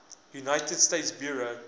united states bureau